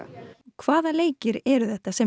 hvaða leikir eru þetta sem